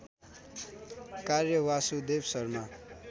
कार्य वासुदेव शर्मा